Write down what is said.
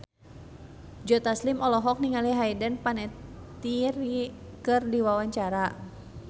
Joe Taslim olohok ningali Hayden Panettiere keur diwawancara